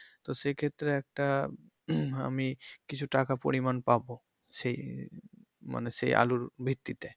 তো সেক্ষেত্রে একটা আমি কিছু টাকা পরিমান পাবো সেই মানে সেই আলুর ভিত্তিতে।